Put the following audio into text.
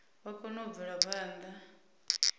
vha kone u bvela phanda